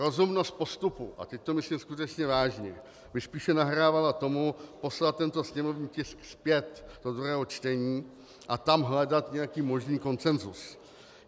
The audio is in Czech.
Rozumnost postupu - a teď to myslím skutečně vážně - by spíše nahrávala tomu poslat tento sněmovní tisk zpět do druhého čtení a tam hledat nějaký možný konsenzus.